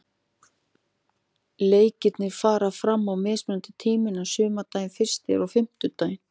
Leikirnir fara fram á mismunandi tímum en sumardagurinn fyrsti er á fimmtudaginn.